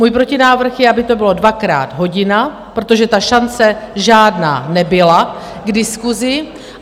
Můj protinávrh je, aby to bylo dvakrát hodina, protože ta šance žádná nebyla k diskusi.